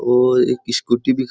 और एक स्कूटी भी --